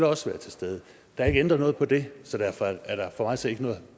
også være til stede der er ikke ændret noget på det så derfor er der for mig at se ikke noget